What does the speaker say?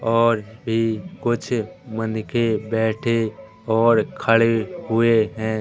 और भी कुछ मन के बैठे और खड़े हुए हैं।